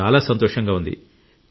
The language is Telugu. నాకు చాలా సంతోషంగా ఉంది